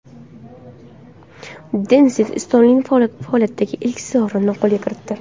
Denis Istomin faoliyatidagi ilk sovrinini qo‘lga kiritdi.